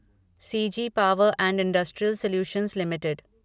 CG power and industrial solutions limited